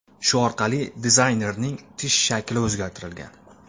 Shu orqali dizaynerning tish shakli o‘zgartirilgan.